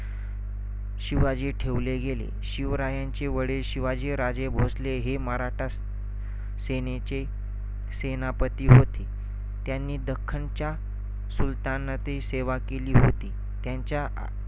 शिवाजी ठेवले गेले. शिवरायांचे वडील शिवाजीराजे भोसले हे मराठा सेनेचे सेनापती होते. त्यांनी दख्खनच्या सूल्तनतची सेवा केली होती.